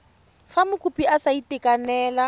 fa mokopi a sa itekanela